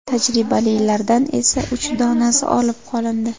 Tajribalilardan esa uch donasi olib qolindi.